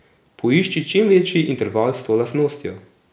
Poišči čim večji interval s to lastnostjo.